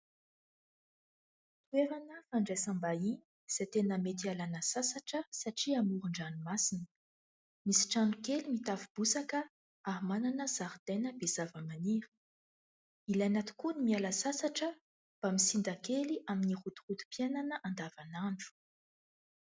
Toerana fandraisam-bahiny izay mety hialana sasatra satria amoron-dranomasina. Misy trano kely mitafo bozaka ary manana zaridaina be zavamaniry. Ilaina tokoa ny miala sasatra mba misinda kely amin'ny rotorotom-piainana andavanandro.